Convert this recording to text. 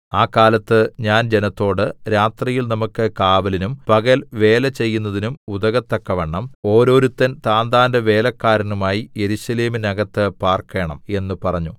ആ കാലത്ത് ഞാൻ ജനത്തോട് രാത്രിയിൽ നമുക്ക് കാവലിനും പകൽ വേല ചെയ്യുന്നതിനും ഉതകത്തക്കവണ്ണം ഓരോരുത്തൻ താന്താന്റെ വേലക്കാരനുമായി യെരൂശലേമിനകത്ത് പാർക്കേണം എന്ന് പറഞ്ഞു